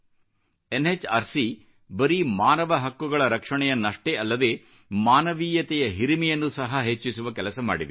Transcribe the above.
ಓಊಖಅ ಯು ಬರೀ ಮಾನವ ಹಕ್ಕುಗಳ ರಕ್ಷಣೆಯನ್ನಷ್ಟೇ ಅಲ್ಲದೆ ಮಾನವೀಯತೆಯ ಹಿರಿಮೆಯನ್ನು ಸಹ ಹೆಚ್ಚಿಸುವ ಕೆಲಸ ಮಾಡಿದೆ